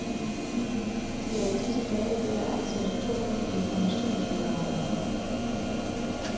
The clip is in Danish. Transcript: De er i disse dage ved at ansætte to nye informationsmedarbejdere.